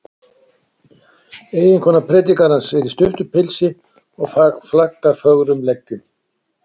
Eiginkona predikarans er í stuttu pilsi og flaggar fögrum leggjum.